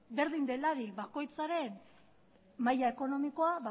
berdin delarik bakoitzaren maila ekonomikoa